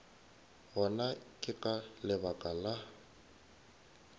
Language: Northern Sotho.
gona ke ka lebaka la